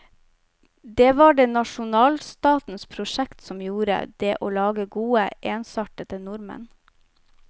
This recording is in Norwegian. Det var det nasjonalstatens prosjekt som gjorde, det å lage gode, ensartede nordmenn.